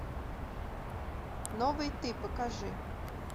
новый ты покажи